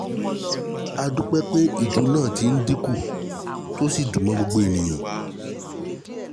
a dúpẹ́ pé ìju náà ti ń dínkù tí o sì dùñ mọ́ gbogbo ènìyàn